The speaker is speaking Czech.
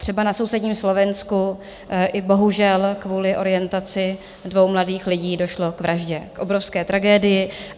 Třeba na sousedním Slovensku i bohužel kvůli orientaci dvou mladých lidí došlo k vraždě, k obrovské tragédii.